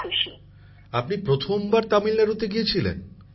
প্রধানমন্ত্রী জীঃ আপনি প্রথমবার তামিলনাড়ুতে গিয়েছিলেন